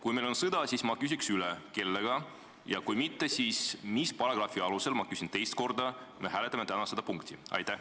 Kui meil on praegu sõda, siis ma küsin, kellega, aga kui mitte, siis ma küsin teist korda: mis paragrahvi alusel me hääletame täna seda küsimust?